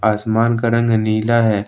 आसमान का रंग नीला है।